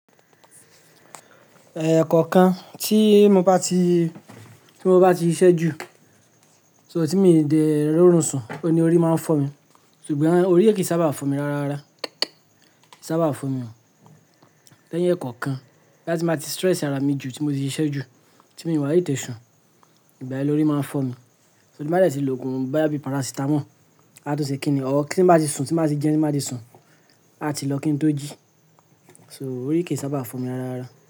Eh, ẹ̀kọ̀kan tí mo bá ti, tí mo bá ti ṣiṣẹ́ jù, so tí mi ò dẹ rò run ń sùn, òní orí máa ń fọ́ mi, ṣùgbọ́n orí kìí sábà fọ́ mi ráárá, kìi sábà fọ́ mi ọ́. Iẹ́ẹ̀ yẹn kankan, bí á ti máa ti stress ara mi jù, tí mo ti ṣiṣẹ́ jù, tí mi wà tétè ṣùn, ìgbà yẹn lórí máa ń fọ́ mi. Tí má de ti lògùn boya bi paracetamol, á tun ṣe kí ni, ọ́ tí ń bá ti sùn, tí ń bá ti jẹun, tí ń bá ti sùn, á ti lọ kí n tó jí. So orí kì í sábà fọ́ mi ráárá.